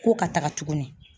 Ko ka taaga tugunni.